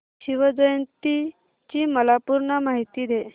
शिवजयंती ची मला पूर्ण माहिती दे